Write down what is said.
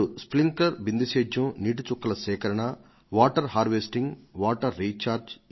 sprinkler లు బిందు సేద్యం మెలకువలు వాటర్ హార్వెస్టింగ్ వాటర్ రీఛార్జింగ్